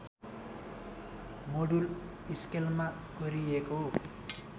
module स्केलमा कोरिएको